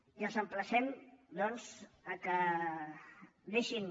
i els emplacem doncs que deixin